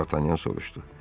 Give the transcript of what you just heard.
Dartanyan soruşdu.